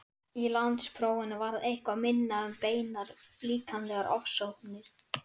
Ástvaldi í Ási eftir bandarískan kristniboða á Indlandi að nafni